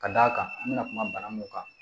Ka d'a kan an bɛna kuma bana mun kan